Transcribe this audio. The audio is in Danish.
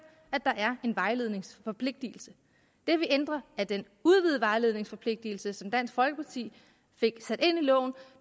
at der er en vejledningsforpligtelse det vi ændrer er den udvidede vejledningsforpligtelse som dansk folkeparti fik sat ind i loven